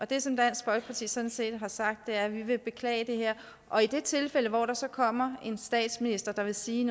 det som dansk folkeparti sådan set har sagt er at vi vil beklage det her og i det tilfælde hvor der så kommer en statsminister der vil sige